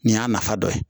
Nin y'a nafa dɔ ye